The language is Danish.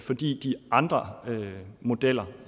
fordi de andre modeller